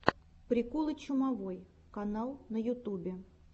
приколы чумовой канал на ютубе